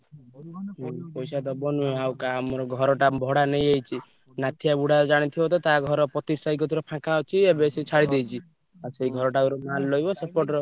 ପଇସା ଦବ ନୁହଁ ଆଉ କାହା ଆମର ଘରଟା ଭଡା ନେଇଯାଇଚି ନାଥିଆ ବୁଢା ଜାଣିଥିବ ତ ତା ଘର ପତିକି ସାହି କତିରେ ଫାଙ୍କା ଅଛି ଏବେ ସିଏ ଛାଡି ଦେଇଚି ଆଉ ସେ ଘରଟା ରେ mall ରହିବ ସେପଟର।